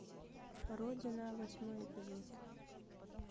родина восьмой эпизод